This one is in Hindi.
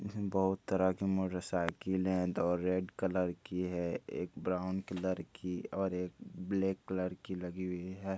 बहुत तरह की मोटरसाइकिल है दो रेड कलर की है एक ब्राउन कलर की और एक ब्लैक कलर की लगी हुई है।